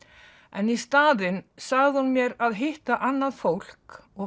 en í staðinn sagði hún mér að hitta annað fólk og